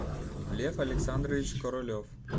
лев александрович королев